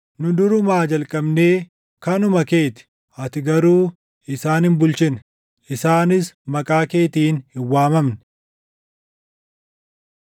Nu durumaa jalqabnee kanuma kee ti; ati garuu isaan hin bulchine; isaanis maqaa keetiin hin waamamne.